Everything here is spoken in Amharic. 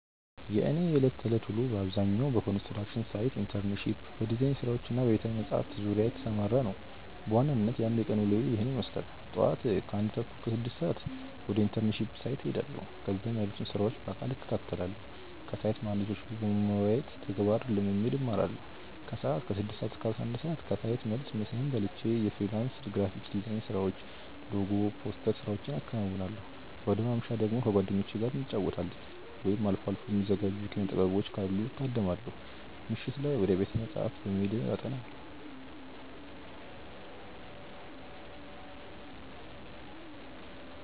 የእኔ የዕለት ተዕለት ውሎ በአብዛኛው በኮንስትራክሽን ሳይት ኢንተርንሺፕ፣ በዲዛይን ስራዎች እና በቤተ-መጻሕፍት ዙሪያ የተሰማራ ነው። በዋናነት የአንድ ቀን ውሎዬ ይህንን ይመስላል፦ ጧት (ከ1:30 - 6:00)፦ ወደ ኢንተርንሺፕ ሳይት እሄዳለሁ። እዚያም ያሉትን ስራዎች በአካል እከታተላለሁ። ከሳይት መሃንዲሶች ጋር በመወያየት ተግባራዊ ልምድ እማራለሁ። ከሰዓት (ከ6:00 - 11:00)፦ ከሳይት መልስ ምሳዬን በልቼ የፍሪላንስ ግራፊክ ዲዛይን ስራዎችን (ሎጎ፣ ፖስተር ስራዎቼን አከናውናለሁ። ወደ ማምሻ ደግሞ፦ ከጓደኞቼ ጋር እንጫወታለን፣ ወይም አልፎ አልፎ የሚዘጋጁ የኪነ-ጥበቦችን ካሉ እታደማለሁ። ምሽት፦ ወደ ቤተ-መጻሕፍት በመሄድ አጠናለሁ።